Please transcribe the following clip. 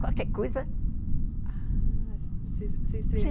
Qualquer coisa. Ah, vocês, vocês